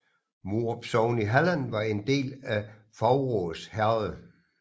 Morup sogn i Halland var en del af Faurås herred